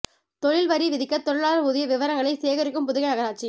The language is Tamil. தொழில் வரி விதிக்க தொழிலாளா் ஊதிய விவரங்களை சேகரிக்கும் புதுகை நகராட்சி